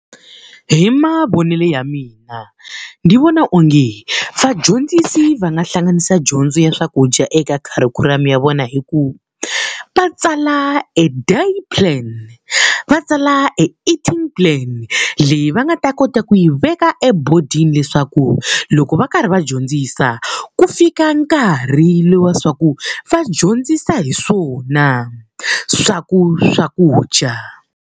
Hi mavonele ya mina ndzi vona onge vadyondzisi va nga hlanganisa dyondzo ya swakudya eka kharikhulamu ya vona hi ku va va tsala e day plan, va tsala e eating plan. Leyi va nga ta kota ku yi veka etibodini leswaku loko va karhi va dyondzisa, ku fika nkarhi lowu wa leswaku va dyondzisa hi swona swakudya.